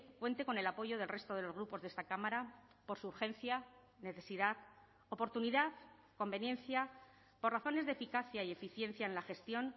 cuente con el apoyo del resto de los grupos de esta cámara por su urgencia necesidad oportunidad conveniencia por razones de eficacia y eficiencia en la gestión